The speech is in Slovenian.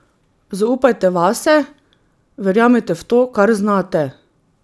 Zaupajte vase, verjemite v to, kar znate.